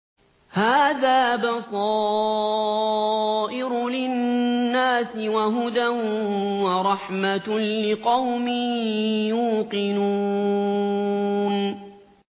هَٰذَا بَصَائِرُ لِلنَّاسِ وَهُدًى وَرَحْمَةٌ لِّقَوْمٍ يُوقِنُونَ